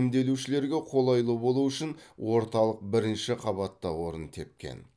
емделушілерге қолайлы болуы үшін орталық бірінші қабатта орын тепкен